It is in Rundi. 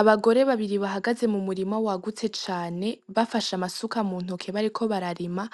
Abagore babiri bahagaze mu murima wagutse cane bafashe amasuka mu ntoke bariko bararima